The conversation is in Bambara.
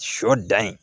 Sɔ dan ye